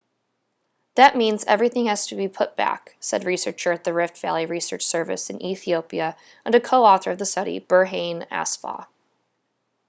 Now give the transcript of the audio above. that means everything has to be put back said researcher at the rift valley research service in ethiopia and a co-author of the study berhane asfaw